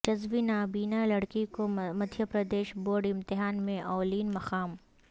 جزوی نابینا لڑکی کو مدھیہ پردیش بورڈ امتحان میں اولین مقام